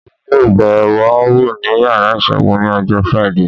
Èmi yóò bẹ̀ wò ní yàrá ìṣègùn ní ọjọ́ Friday